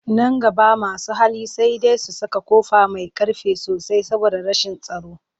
Nan gaba masu hali sai dai su saka ƙofa mai ƙ arfi sosai saboda rashin tsaro